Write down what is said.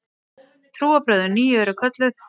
Trúarbrögðin nýju eru kölluð